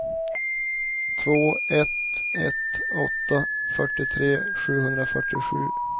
två ett ett åtta fyrtiotre sjuhundrafyrtiosju